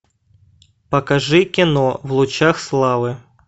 покажи кино в лучах славы